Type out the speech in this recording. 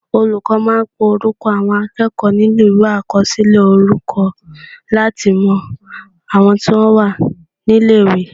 Olùkọ́ máa ń pe orúkọ àwọn akẹ́kọ̀ọ́ nínú Ìwé àkọsílẹ̀ orúkọ láti mọ àwọn tí wọ́n wà ní ilé-ìwé